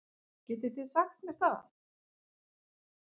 Getið þið sagt mér það?